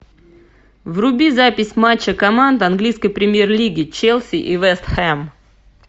вруби запись матча команд английской премьер лиги челси и вест хэм